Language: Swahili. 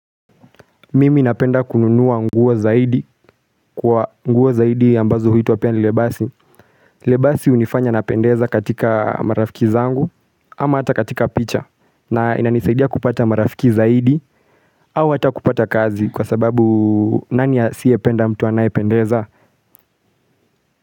Mimi napenda kununua nguo zaidi kwa nguo zaidi ambazo huitwa pia ni lebasi Lebasi hunifanya napendeza katika marafiki zangu ama hata katika picha na inanisaidia kupata marafiki zaidi au hata kupata kazi kwa sababu nani asiye penda mtu anayependeza.